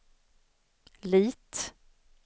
Lit